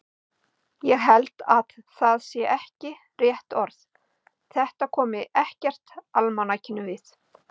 Ég held að það sé ekki rétt orð, þetta komi ekkert almanakinu við.